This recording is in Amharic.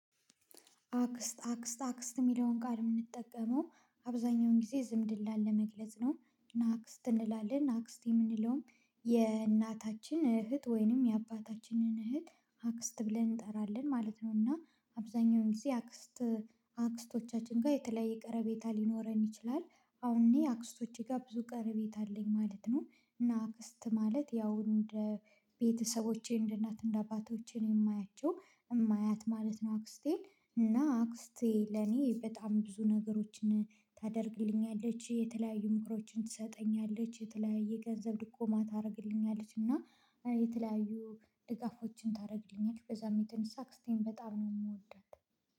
አክስት አክስት አክስት ሚለውን ቃል ምንጠቀመው አብዛኛውን ጊዜ ዝምድል ላ ለመግለጽ ነው ናክስት እንላለን ናክስት የምንለውም የእናታችን እህት ወይንም የአባታችንን እህት አክስት ብለን እንጠራለን ማለት ነው። እና አብዛኛውን ጊዜ አክስት አክስቶቻችን ጋ የተለያየ ቀርቤታ ሊኖረን ይችላል። አሁን እኔ አክስቶቼ ጋር ብዙ ቀረቤታ አለኝ ማለት ነው። እና አክስት ማለት ያው እንደ ቤተሰቦቼ እንደ እናት እንደ አባቶቼ ነው የማያቸው የማያት ማለት ነው። አክስቴን እና አክስቴ ለኔ በጣም ብዙ ነገሮችን ታደርግልኛለች የተለያዩ ምክሮችን ትሰጠኛለች የተለያዩ ገንዘብ ድጎማ ታርግልኛለች እና የተለያዩ ድጋፎችን ታረግልኛለች ከዛም የተነሳ አክስቴን በጣም ነው ምወዳት